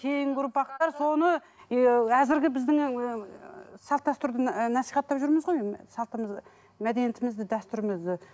кейінгі ұрпақтар соны ы әзіргі біздің ііі салт дәстүрді насихаттап жүрміз ғой салтымызды мәдениетімізді дәстүрімізді